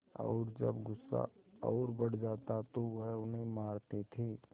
और जब गुस्सा और बढ़ जाता तो वह उन्हें मारते थे